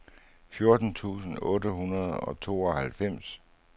fjorten tusind otte hundrede og tooghalvfems